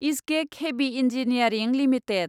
इसगेक heavy engineering limited